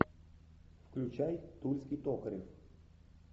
включай тульский токарев